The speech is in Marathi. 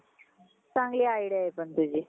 चांगली idea आहे पण तुझी.